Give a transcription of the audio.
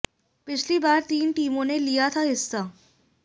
पिछली बार तीन टीमों ने लिया था हिस्सा